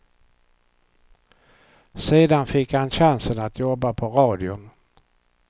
Sedan fick han chansen att jobba på radion.